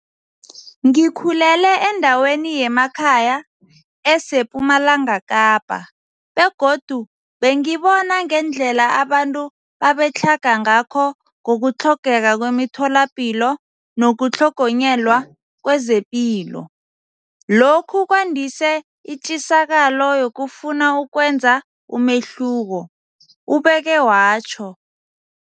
Ngikhulele endaweni yemakhaya esePumalanga Kapa begodu bengibona ngendlela abantu babetlhaga ngakho ngokutlhogeka kwemitholapilo nokutlhogonyelwa kezepilo. Lokhu kwandise itjisakalo yokufuna ukwenza umehluko, ubeke watjho.